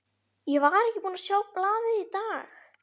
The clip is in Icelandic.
Ég var ekki búinn að sjá blaðið í dag.